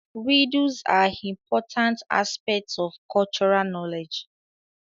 Riddles are importnat aspects of cultural knowledge